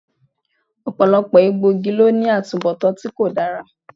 Ọ̀pọ̀lọpọ̀ egbòogi ló ní atubọtan tí kò dára